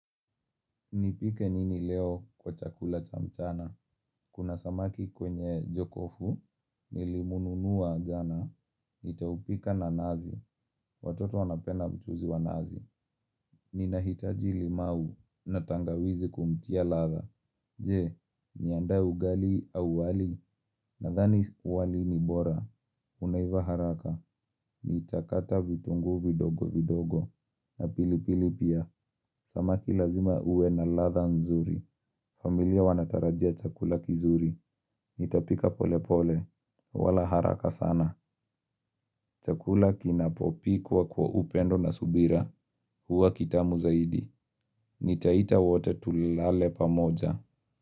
Nipike nini leo kwa chakula cha mchana. Kuna samaki kwenye jokofu, nilimununua jana, nitaupika na nazi. Watoto wanapenda mchuzi wa nazi. Ninahitaji limau na tangawizi kumtia latha. Je, niandae ugali au wali nathani wali ni bora. Unaiva haraka, nitakata vitungu vidogo vidogo. Na pilipili pia, samaki lazima uwe na latha nzuri. Familia wanatarajia chakula kizuri, nitapika pole pole, wala haraka sana, chakula kinapopikwa kwa upendo na subira, huwa kitamu zaidi, nitaita wote tulilale pamoja.